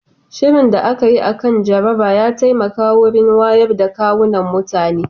Shirin da aka yi akan jaraba ya taimaka wurin wayoyin da kwunan mutane